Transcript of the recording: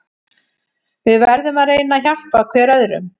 Við verðum að reyna að hjálpa hver öðrum.